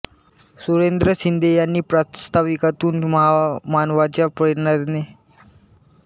सुरेंद्र शिंदे यांनी प्रास्ताविकातुन महामानवांच्या प्रेरणेने सद्वर्तनाने बौद्ध साहित्यातुन परिवर्तनाची ज्योत चेतवा